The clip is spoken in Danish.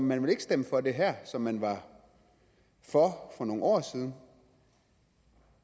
man vil ikke stemme for det her som man var for for nogle år siden